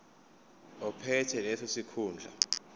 ophethe leso sikhundla